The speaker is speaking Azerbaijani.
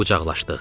Qucaqlaşdıq.